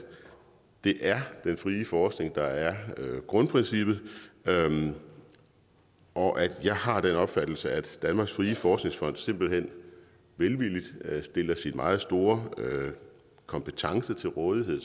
det er den frie forskning der er grundprincippet og og jeg har den opfattelse at danmarks frie forskningsfond simpelt hen velvilligt stiller sin meget store kompetence til rådighed